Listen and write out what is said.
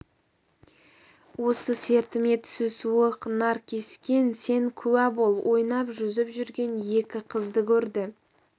осы сертіме түсі суық наркескен сен куә бол ойнап жүзіп жүрген екі қызды көрді